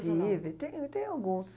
Tive, e te e tenho alguns.